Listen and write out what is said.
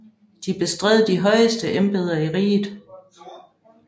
De bestred de højeste embeder i riget